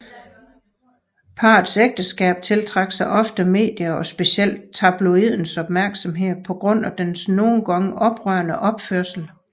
Parets ægteskab tiltrak sig ofte medie og specielt tabloidens opmærksomhed på grund af deres nogen gange oprørende opførsel